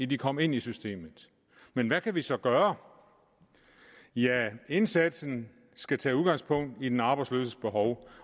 de kom ind i systemet men hvad kan vi så gøre ja indsatsen skal tage udgangspunkt i den arbejdsløses behov